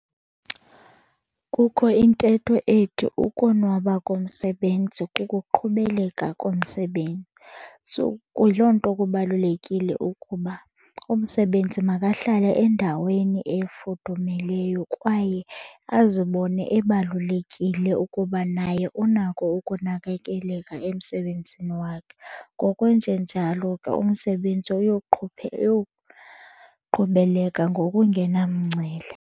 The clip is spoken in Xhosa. Kukho intetho ethi ukonwaba komsebenzi kukuqhubeleka komsebenzi. So kuyiloo nto kubalulekile ukuba umsebenzi makahlale endaweni efudumeleyo kwaye azibone ebalulekile ukuba naye unako ukunakekeleka emsebenzini wakhe. Ngokwenjenjalo ke umsebenzi uyoqhubeleka ngokungena mngcele.